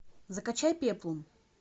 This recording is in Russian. закачай пеплум